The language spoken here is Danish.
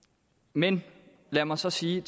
men lad mig så sige